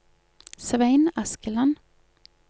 Svein Askeland